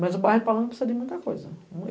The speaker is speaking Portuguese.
Mas o bairro palanque precisa de muita coisa.